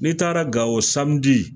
N'i taara Gawo